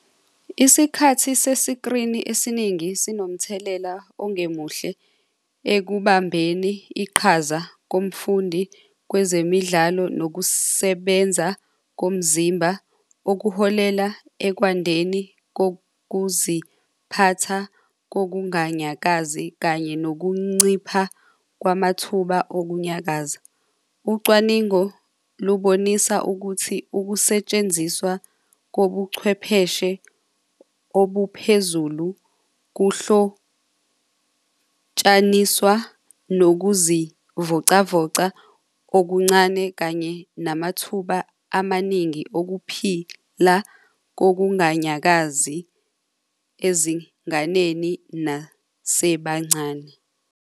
Isikhathi sesikrini esiningi sinomthelela ongemuhle ekuhambeni iqhaza komfundi kwezemidlalo nokusebenza komzimba okuholela ekwandeni kokuziphatha kokunganyakazi kanye nokuncipha kwamathuba okunyakazayo. Ucwaningo lubonisa ukuthi ukusetshenziswa kobuchwepheshe obuphezulu kuhlotshaniswa nokuzivocavoca okuncane kanye namathuba amaningi okuphila kokunganyakazi ezinganeni nasebancane.